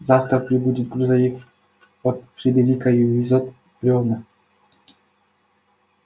завтра прибудет грузовик от фредерика и увезёт брёвна